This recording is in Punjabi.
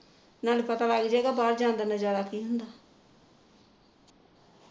ਨਾਲੇ ਪਤਾ ਲੱਗ ਜੇਗਾ ਬਾਹਰ ਜਾਣ ਦਾ ਨਜਾਰਾ ਕੀ ਹੁੰਦਾ